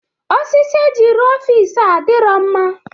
Osisi eji rụọ ọfịs a adirọ mma.